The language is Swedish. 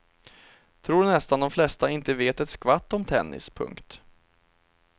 Tror nästan de flesta inte vet ett skvatt om tennis. punkt